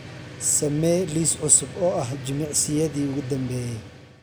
samee liis cusub oo ah jimicsiyadii ugu dambeeyay